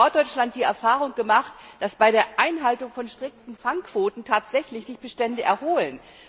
Wir haben in Norddeutschland die Erfahrung gemacht, dass bei der Einhaltung von strikten Fangquoten sich tatsächlich Bestände erholen.